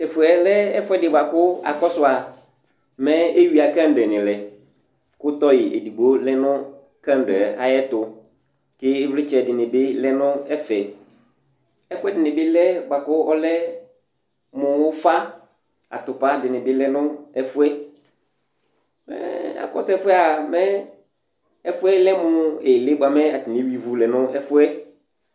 Tʋ ɛfʋ yɛ lɛ ɛfʋɛdɩ bʋa kʋ akɔsʋ a, mɛ eyuiǝ kandl lɛ kʋ tɔyɩ edigbo lɛ kandl yɛ ayɛtʋ kʋ ɩvlɩtsɛnɩ bɩ lɛ nʋ ɛfɛ Ɛkʋɛdɩnɩ bɩ lɛ bʋa kʋ ɔlɛ mʋ ʋfa Atʋpa dɩnɩ lɛ nʋ ɛfʋ yɛ Mɛ akɔsʋ ɛfʋ yɛ a, mɛ ɛfʋ yɛ lɛ mʋ ɩɣɩlɩ bʋa mɛ atanɩ eyuiǝ ivu lɛ nʋ ɛfʋ yɛ